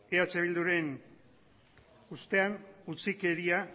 eh bilduren ustean utzikeria